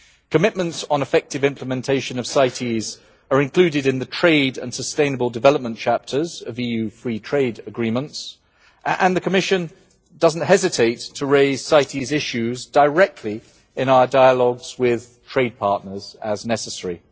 Commitments on effective implementation of CITES are included in the trade and sustainable development chapters of EU free trade agreements and the Commission does not hesitate to raise CITES issues directly in our dialogues with trade partners as necessary.